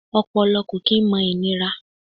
Ọpọlọ kò kí n mọ ìnira